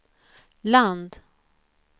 land